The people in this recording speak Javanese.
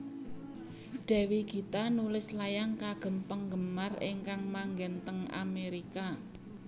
Dewi Gita nulis layang kagem penggemar ingkang manggen teng Amerika